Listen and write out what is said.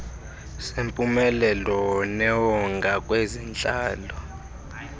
sempumelelo newonga kwezentlalo